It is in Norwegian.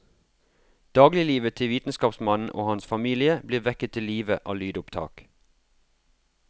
Dagliglivet til vitenskapsmannen og hans familie blir vekket til live av lydopptak.